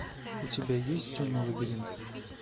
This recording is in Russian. у тебя есть темный лабиринт